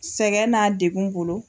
Sɛgɛn n'a degu bolo